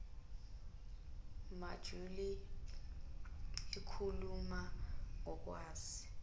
mojuli ikhuluma ngokwazi